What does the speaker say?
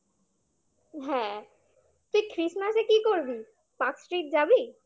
হ্যাঁ তুই christmas -এ কি করবি? Park street যাবি?